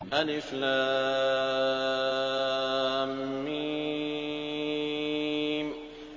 الم